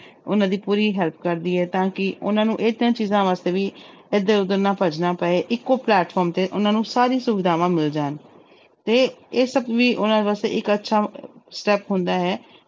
ਉਹਨਾਂ ਦੀ ਪੂਰੀ help ਕਰਦੀ ਹੈ ਤਾਂ ਕਿ ਉਹਨਾਂ ਨੂੰ ਇਹ ਤਿੰਨ ਚੀਜ਼ਾਂ ਵਾਸਤੇ ਵੀ ਇੱਧਰ ਉੱਧਰ ਨਾ ਭੱਜਣਾ ਪਏ ਇੱਕੋ platform ਤੇ ਉਹਨਾਂ ਨੂੰ ਸਾਰੀ ਸੁਵਿਧਾਵਾਂ ਮਿਲ ਜਾਣ ਤੇ ਇਹ ਸਭ ਵੀ ਉਹਨਾਂ ਵਾਸਤੇ ਇੱਕ ਅੱਛਾ step ਹੰਦਾ ਹੈ।